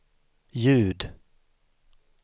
ljud